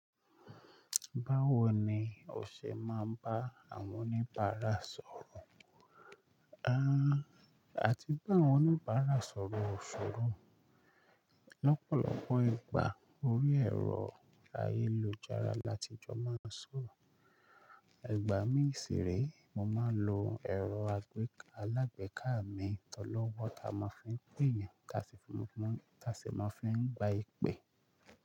Báwo ni o ṣe máa ń bá àwọn oníbàárà sọ̀rọ̀? A, àti bá àwọn oníbàárà sọ̀rọ̀ ò ṣòro. Lọ́pọ̀lọpọ̀ ìgbà orí ẹ̀rọ ayélujára láti ìjọ máa ń sọ̀rọ̀. Igbá mi si rée, mo máa ń lo ẹ̀rọ alágbèká a mi tọlọ́wọ́, ta máa fi ń pè yan tá sì máa fí n gba ìpè.